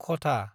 Kota